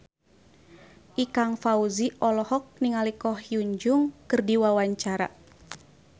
Ikang Fawzi olohok ningali Ko Hyun Jung keur diwawancara